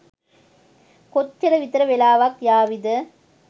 කොච්චර විතර වෙලාවක් යාවිද?